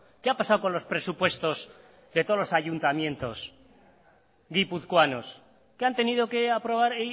qué ha pasado con los presupuestos de todos los ayuntamientos guipuzcoanos que han tenido que aprobar